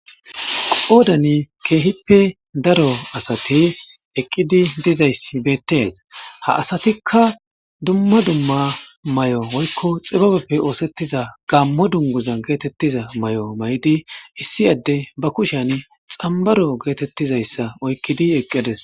Odani keehippe daro asati eqqidi dizayssi beettees ha asatikka dumma dumma may7o oykko xibabeppe oosettiza gammo dunguza geetettiza may7o may7idi issi adde ba kushean xambaro geetettizayssa oykkidi eqqides.